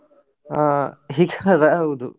ಹಾ ಈಗವಾ ಹೌದು.